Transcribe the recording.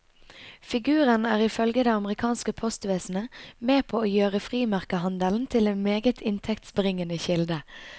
Figuren er ifølge det amerikanske postvesenet med på å gjøre frimerkehandelen til en meget inntektsbringende kilde.